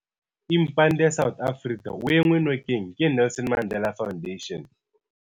Impande South Africa o enngwe nokeng ke Nelson Mandela Foundation.